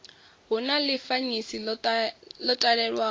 hu na ḽifanyisi ḽo talelwaho